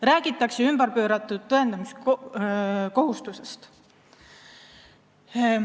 Räägitakse ümberpööratud tõendamiskohustusest.